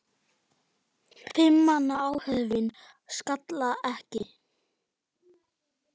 Fimm manna áhöfn sakaði ekki.